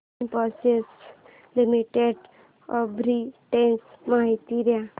Infosys limited arbitrage माहिती दे